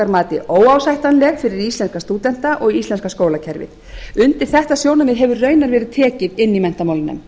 mati óásættanleg fyrir íslenska stúdenta og íslenska skólakerfið undir þetta sjónarmið hefur raunar verið tekið inni í menntamálanefnd